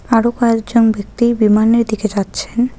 আরও কয়েকজন ব্যক্তি বিমানের দিকে যাচ্ছেন।